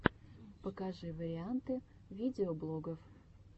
покажи варианты видеоблогов